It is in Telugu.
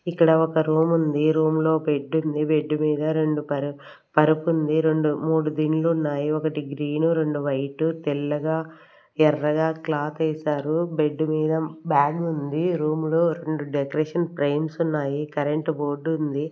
ఇక్కడ ఒక రూమ్ ఉంది రూమ్ లో బెడ్ ఉంది బెడ్ మీద రెండు పర్-- పరుపు ఉంది రెండు మూడు దిండ్లు ఉన్నాయి ఒకటి గ్రీన్ రెండు వైట్ తెల్లగా ఎర్రగా క్లాత్ వేశారు బెడ్ మీద బ్యాగ్ ఉంది రూమ్ లో రెండు డెకరేషన్ ఫ్రేమ్స్ ఉన్నాయి కరెంట్ బోర్డు ఉంది.